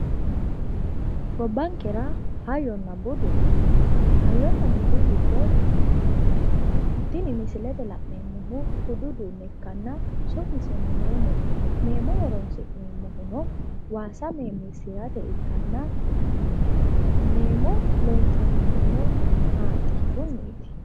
Gobbankera hayyonna budu no. Hayyonna budu giddo tini misilete la'neemmohu budu uduunne ikkanna su'miseno meemote. Meemo horoonsi'neemmohuno waasa meemiissirate ikkanna meemo loonsannihuno haanxichunniiti.